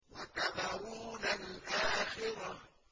وَتَذَرُونَ الْآخِرَةَ